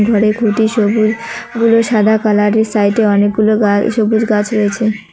ঘরে কটি সবুজ গুলো সাদা কালারের সাইডে অনেকগুলো গাছ সবুজ গাছ রয়েছে।